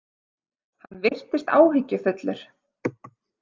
Hann virtist áhyggjufullur.